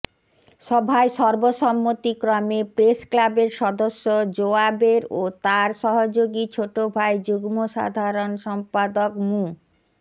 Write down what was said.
সভায় সর্বসম্মতিক্রমে প্রেস ক্লাবের সদস্য জোবায়ের ও তার সহযোগী ছোট ভাই যুগ্ম সাধারণ সম্পাদক মু